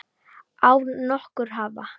Án nokkurs vafa!